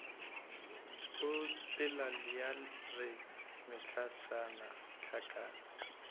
opela ya re mehlašana hlakana